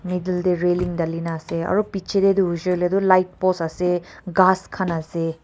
middle te railing dali kini ase aru piche te hoise le tu light post ase gass khan ase.